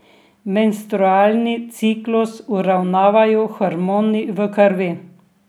Menstrualni ciklus uravnavajo hormoni v krvi.